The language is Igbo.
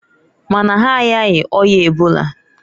Mana ha ayaghi oya ebola.